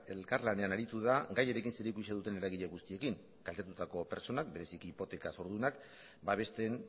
elkarlanean aritu da gaiarekin zerikusia duten eragile guztiekin kaltetutako pertsonak bereziki hipoteka zordunak babesten